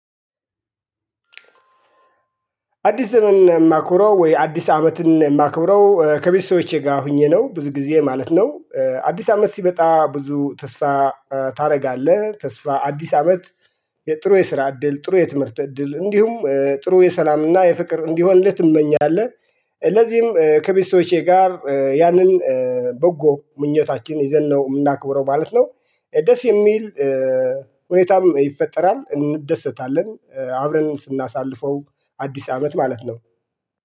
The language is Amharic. አዲስ ዘመን የማክብረው ወይ? አዲስ አመትን የማክብረው ከቤተሰቦቼ ጋር ሆኜ ነው ብዙ ጊዜ ማለት ነው። አዲስ አመት ሲመጣ ብዙ ተስፋ ታደርጋለህ ተስፋ አዲስ አመት። የጥሩ የስራ እድል ጥሩ የትምህርት እድል እንዲሁም ጥሩ የሰላምና የፍቅር እንዲሆን እንዴት ትመኛለህ? ስለዚህም ከቤተሰቦቼ ጋር ያንን በጎ ምኞታችን ይዘን ነው የምናክብረው ማለት ነው። ደስ የሚል ሁኔታም ይፈጠራል እንደሰታለን አብረን ስናሳልፈው። አዲስ አመት ማለት ነው